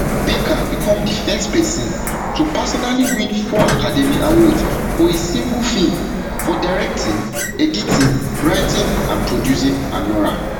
baker become di first person to personally win four academy awards for a single film for directing editing writing and producing anora